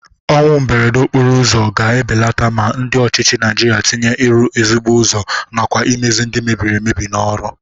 Ọnwụ mberede okporo ụzọ ga-ebeleta ma ndị ọchịchị Naịjirịa tinye ịrụ ezigbo ụzọ nakwa imezi ndị mebiri emebi n'ọrụ.